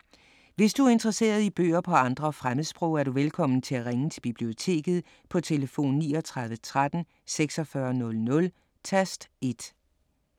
Hvis du er interesseret i bøger på andre fremmedsprog, er du velkommen til at ringe til Biblioteket på tlf. 39 13 46 00, tast 1.